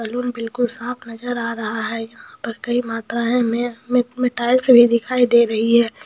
balloon बिकुल साफ़ नज़र आ रहा है | यहाँ पैर हमें कई मात्रा में हमें टाइल्स भी दिखाई दे रही हैं